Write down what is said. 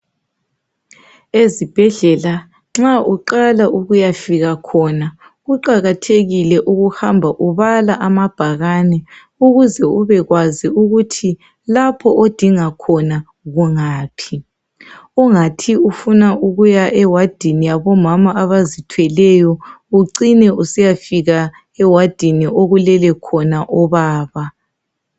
Ezibhedlela nxa uqala ukuyafika khona kuqakathekile ukuhamba ubala amabhakani ukuze ube kwazi ukuthi lapho odinga khona kungaphi. Ungathi ufuna ukuya ewadini yabomama abazithweleyo ucine usiyafika ewadini okulele khona obaba.